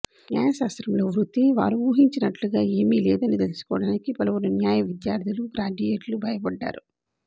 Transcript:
న్యాయశాస్త్రంలో వృత్తిని వారు ఊహించినట్లుగా ఏమీ లేదని తెలుసుకోవడానికి పలువురు న్యాయ విద్యార్థులూ గ్రాడ్యుయేట్లు భయపడ్డారు